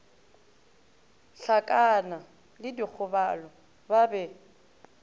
hlakana le dikgobalo ba be